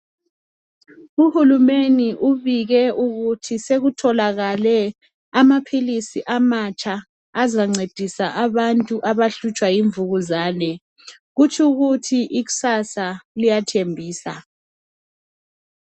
Uhulumeni ubike ukuthi sekutholakale amaphilisi amatsha azancedisa abantu abahlutshwa yimvukuzane. Kutshu kuthi ikusasa liyathembisa.